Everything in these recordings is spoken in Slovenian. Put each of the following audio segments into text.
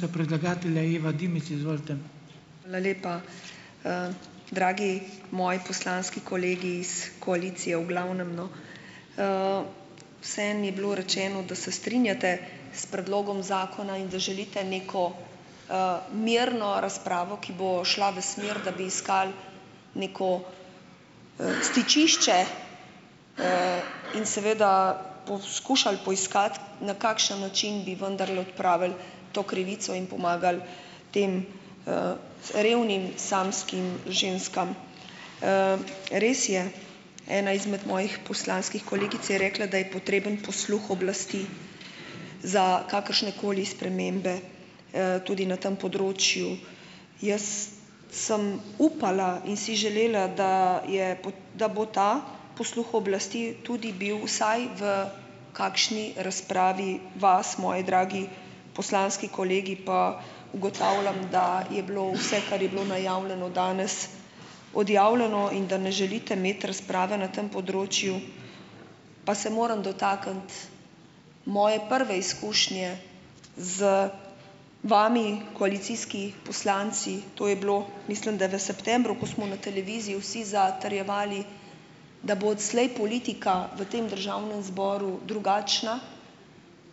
Hvala lepa, dragi moji poslanski kolegi iz koalicije v glavnem, no ... vseeno je bilo rečeno, da se strinjate s predlogom zakona in da želite neko, mirno razpravo, ki bo šla v smer, da bi iskali neko, stičišče, in seveda poskušali poiskati, na kakšen način bi vendarle odpravili to krivico in pomagali tem, revnim samskim ženskam. Res je, ena izmed mojih poslanskih kolegic je rekla, da je potreben posluh oblasti za kakršnekoli spremembe, tudi na tem področju. Jaz sem upala in si želela, da je, bo, da bo ta posluh oblasti tudi bil vsaj v kakšni razpravi vas, moji dragi poslanski kolegi, pa ugotavljam, da je bilo vse, kar je bilo najavljeno danes, odjavljeno in da ne želite imeti razprave na tem področju, pa se moram dotakniti moje prve izkušnje z vami, koalicijski poslanci. To je bilo, mislim, da v septembru, ko smo na televiziji vsi zatrjevali, da bo odslej politika v tem državnem zboru drugačna,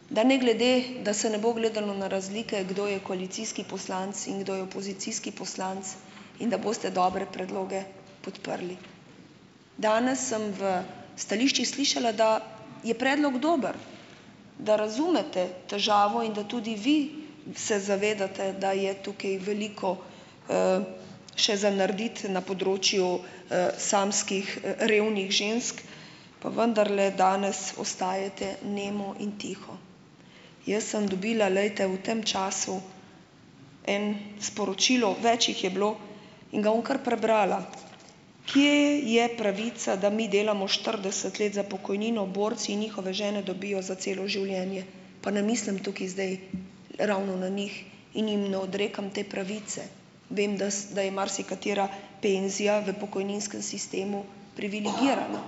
da ne glede, da se ne bo gledalo na razlike, kdo je koalicijski poslanec in kdo je opozicijski poslanec, in da boste dobre predloge podprli. Danes sem v stališčih slišala, da je predlog dober, da razumete težavo in da tudi vi se zavedate, da je tukaj veliko, še za narediti na področju, samskih, revnih žensk, pa vendarle danes ostajate nemo in tiho. Jaz sem dobila, glejte, v tem času en sporočilo, več jih je bilo, in ga bom kar prebrala. Kje je pravica, da mi delamo štirideset let za pokojnino? Borci in njihove žene dobijo za celo življenje, pa ne mislim tukaj zdaj ravno na njih in jim ne odrekam te pravice. Vem, da s, da je marsikatera penzija v pokojninskem sistemu privilegirana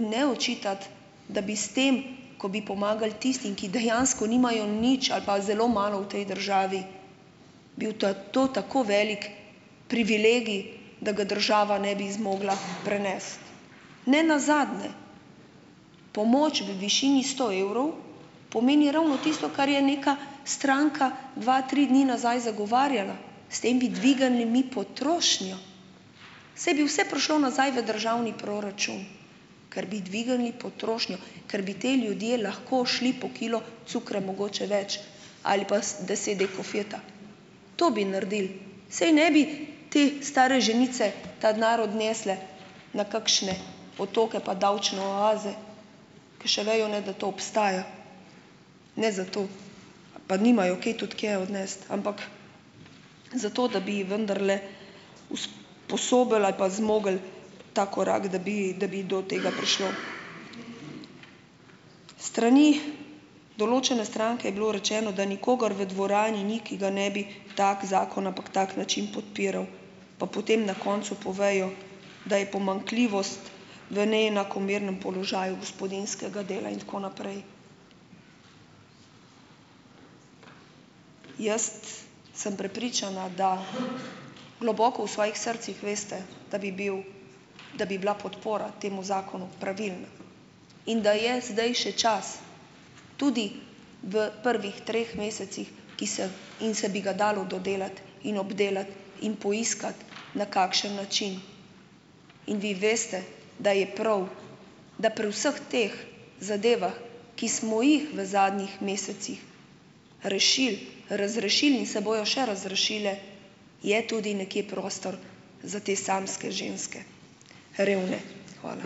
in ne očitati, da bi s tem, ko bi pomagali tistim, ki dejansko nimajo nič ali pa zelo malo v tej državi, bil ta to tako velik privilegij, da ga država ne bi zmogla prenesti. Nenazadnje pomoč v višini sto evrov pomeni ravno tisto, kar je neka stranka dva, tri dni nazaj zagovarjala. S tem bi dvignili mi potrošnjo, saj bi vse prišlo nazaj v državni proračun, ker bi dvignili potrošnjo, ker bi ti ljudje lahko šli po kilo cukra mogoče več ali pa s deset dek kofeta, to bi naredili, saj ne bi te stare ženice ta denar odnesle na kakšne otoke pa davčne oaze, ker še vejo ne, da to obstaja, ne, zato pa nimajo kaj tudi kje odnesti, ampak zato, da bi vendarle usp- osobili ali pa zmogli ta korak, da bi, da bi do tega prišlo. S strani določene stranke je bilo rečeno, da nikogar v dvorani ni, ki ga ne bi tak zakon, ampak tak način podpiral, pa potem na koncu povejo, da je pomanjkljivost v neenakomernem položaju gospodinjskega dela in tako naprej. Jaz sem prepričana, da globoko v svojih srcih veste, da bi bil, da bi bila podpora temu zakonu pravilna in da je zdaj še čas tudi v prvih treh mesecih, ki se in se bi ga dalo dodelati in obdelati in poiskati na kakšen način, in vi veste, da je prav, da pri vseh teh zadevah, ki smo jih v zadnjih mesecih rešili, razrešili in se bojo še razrešile, je tudi nekje prostor za te samske ženske, revne. Hvala.